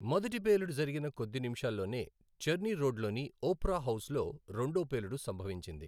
మొదటి పేలుడు జరిగిన కొద్ది నిమిషాల్లోనే చర్ని రోడ్లోని ఓప్రా హౌస్లో రెండో పేలుడు సంభవించింది.